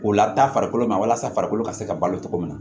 O la taa farikolo ma walasa farikolo ka se ka balo cogo min na